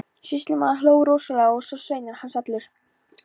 Sýslumaður hló rosalega, svo og sveinar hans allir.